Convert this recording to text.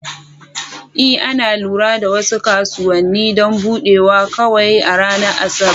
Ee, ana lura da wasu kasuwanni don buɗewa kawai a ranar Asabar.